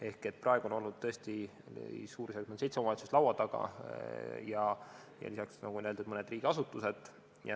Ehk praegu oli tõesti suurusjärgus seitse omavalitsust meil laua taga ja lisaks siis, nagu öeldud, mõned riigiasutused.